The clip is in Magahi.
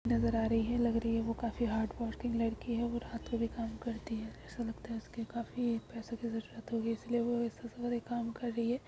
नजर आ रही है | लग रही है वो काफी हार्ड्वर्कींग लड़की है और रात को भी काम करती है | ऐसा लगता है उसको काफी पैसों की जरूरत होगी इसलिए वो रात को काम कर रही है ।